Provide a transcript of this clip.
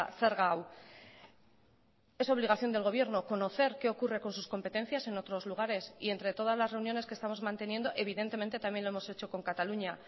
zerga hau es obligación del gobierno conocer qué ocurre con sus competencias en otros lugares y entre todas las reuniones que estamos manteniendo evidentemente también lo hemos hecho con cataluña